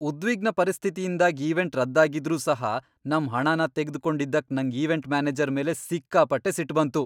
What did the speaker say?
ಉದ್ವಿಗ್ನ ಪರಿಸ್ಥಿತಿಯಿಂದಾಗ್ ಈವೆಂಟ್ ರದ್ದ್ ಆಗಿದ್ರೂ ಸಹ ನಮ್ ಹಣನ ತೆಗ್ದು ಕೊಂಡಿದ್ದಕ್ ನಂಗ್ ಈವೆಂಟ್ ಮ್ಯಾನೇಜರ್ ಮೇಲೆ ಸಿಕ್ಕಾಪಟ್ಟೆ ಸಿಟ್ ಬಂತು.